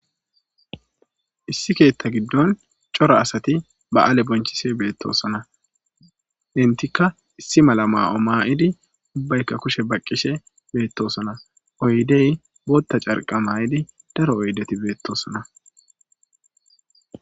Issi keeta giddon cora assati ba'ale bonchishe betosona. Entiaka issi mala mayo mayid ubbayka kushe baqishe betosona. Oydeyka carqa mayidi daro oydeti betosona.